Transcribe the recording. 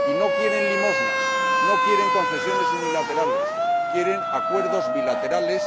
Y no quieren limosnas, no quieren concesiones unilaterales, quieren acuerdos bilaterales.